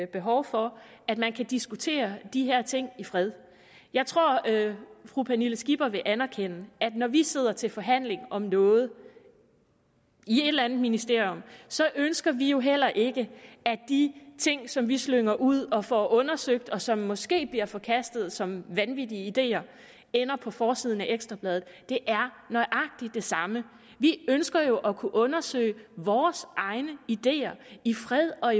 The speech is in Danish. behov for at man kan diskutere de her ting i fred jeg tror at fru pernille skipper vil anerkende at når vi sidder til forhandling om noget i et eller andet ministerium så ønsker vi jo heller ikke at de ting som vi slynger ud og får undersøgt og som måske bliver forkastet som vanvittige ideer ender på forsiden af ekstra bladet det er nøjagtig det samme vi ønsker jo at kunne undersøge vores egne ideer i fred og